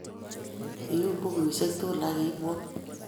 Iyum bukusyek tugul ak iibwon.